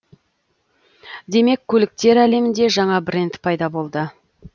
демек көліктер әлемінде жаңа бренд пайда болды